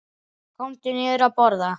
Komdu niður að borða.